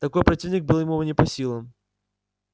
такой противник был ему не по силам